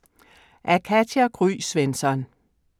Af Katja Gry Svensson